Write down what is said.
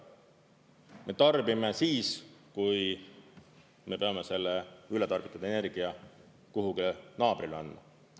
Me tarbime siis, kui me peame selle ületarbitud energia kuhugi naabrile andma.